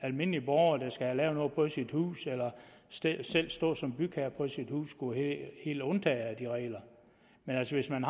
almindelig borger der skal have lavet noget på sit hus eller selv selv står som bygherre på sit hus skulle være helt undtaget fra de regler men hvis hvis man